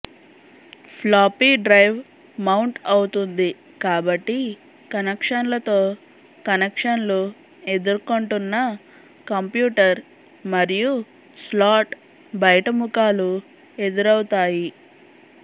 floppy drive mount అవుతుంది కాబట్టి కనెక్షన్లతో కనెక్షన్లు ఎదుర్కొంటున్న కంప్యూటర్ మరియు స్లాట్ బయట ముఖాలు ఎదురవుతాయి